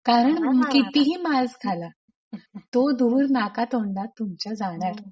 कारण कितीही मास्क घाला तो धूर नाकातोंडात तुमच्या जाणार.